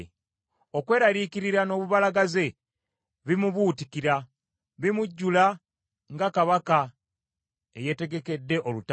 Okweraliikirira n’obubalagaze bimubuutikira, bimujjula nga kabaka eyetegekedde olutalo.